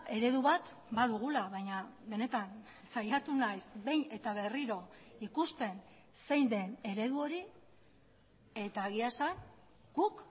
eredu bat badugula baina benetan saiatu naiz behin eta berriro ikusten zein den eredu hori eta egia esan guk